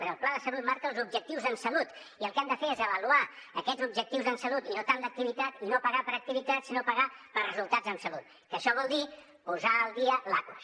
però el pla de salut marca els objectius en salut i el que hem de fer és avaluar aquests objectius en salut i no tant l’activitat i no pagar per activitat sinó pagar per resultats en salut que això vol dir posar al dia l’aquas